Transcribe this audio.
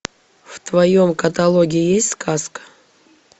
в твоем каталоге есть сказка